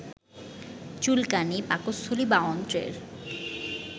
চুলকানী, পাকস্থলী বা অন্ত্রের